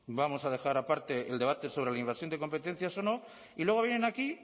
vamos a dejar aparte el debate sobre la invasión de competencias o no y luego vienen aquí